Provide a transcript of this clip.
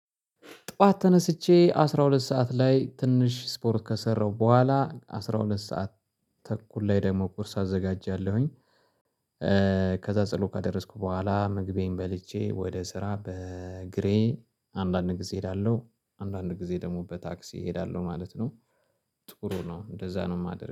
ጠዋት ተነስቼ አስራ ሁለት ሰዓት ላይ ትንሽ ስፖርት ከሰራው በኋላ አስራ ሁለት ሰዓት ተኩል ላይ ደግሞ ቁርስ አዘጋጃለሁኝ። ከዛ ጸሎት ካደረስኩ በኋላ ምግቤን በልቼ ወደ ስራ በእግሬ አንዳንድ ጊዜ እሄዳለሁ አንዳንድ ጊዜ ደግሞ በታክሲ እሄዳለሁ ማለት ነው። ጥሩ ነው እንደዛ ነው የማደርገው